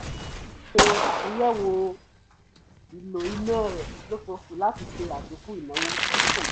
ó ṣe àtúnyẹ̀wo ìlò iná rẹ olóṣooṣù láti ṣe àdínkù ìnáwó tí kò yẹ